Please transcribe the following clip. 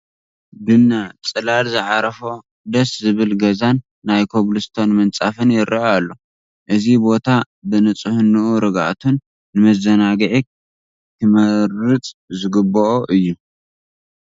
ድነ ፅላል ዝዓረፎ ደስ ዝብል ገዛን ናይ ኮብል ስቶን ምንፃፍን ይርአ ኣሎ፡፡ እዚ ቦታ ብንፅህንኡ ርግኣቱን ንመዘናግዒ ክምረፅ ዝግብኦ እዮ፡፡